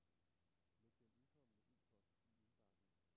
Læg den indkomne e-post i indbakken.